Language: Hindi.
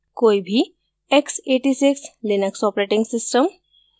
कोई भी x86 लिनक्स operating system